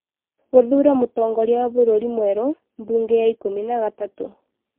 gũthuura mũtongoria wa bũrũri mwerũ, mbunge ya ikũmi na gatatũ,